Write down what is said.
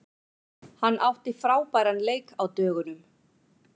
Hann átti frábæran leik á dögunum.